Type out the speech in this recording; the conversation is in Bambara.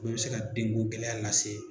O be se ka den ko gɛlɛya lase